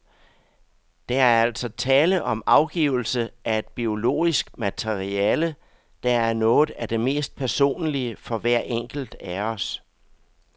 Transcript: Der er altså tale om afgivelse af et biologisk materiale, der er noget af det mest personlige for hver enkelt af os.